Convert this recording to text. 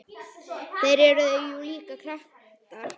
Þeir eru jú líka kratar.